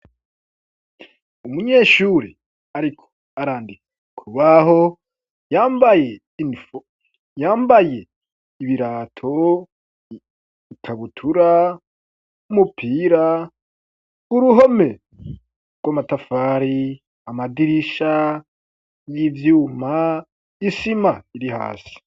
Umunyeshuri ariko arandika k'urubaho, yambaye ibirato, ikabutura, n'umupira, uruhome rw'amatafari, amadirisha y'ivyuma, isima iri hasi.